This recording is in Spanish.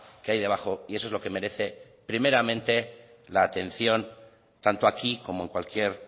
que hay debajo y eso es lo que merece primeramente la atención tanto aquí como en cualquier